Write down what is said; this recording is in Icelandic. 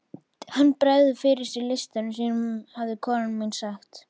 Hann bregður fyrir sig listum sínum hafði kona mín sagt.